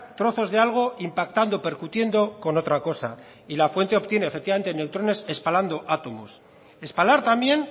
trozos de algo impactando percutiendo con otra cosa y la fuente obtiene efectivamente neutrones espalando átomos espalar también